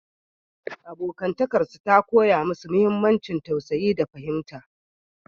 Abotarsu ta koya musu muhimmancin tausayi da fahimta.